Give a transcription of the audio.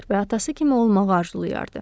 və atası kimi olmağı arzulayardı.